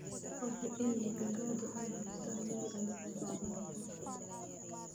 Hubi in digaagadu ay haystaan ??meel ay ku socdaan coop.